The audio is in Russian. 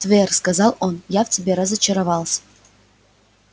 твер сказал он я в тебе разочаровался